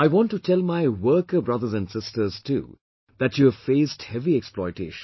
I want to tell my worker brothers and sisters too that you have faced heavy exploitation